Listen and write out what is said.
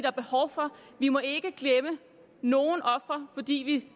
er behov for vi må ikke glemme nogen ofre fordi